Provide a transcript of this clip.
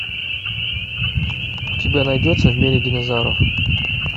у тебя найдется в мире динозавров